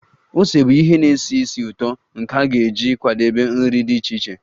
Ose bụ ihe na-esi ísì ụtọ nke a ga-eji kwadebe nri dị iche iche